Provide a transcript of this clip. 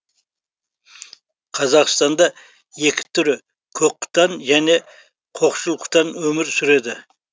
қазақстанда екі түрі көк құтан және қошқыл құтан өмір сүреді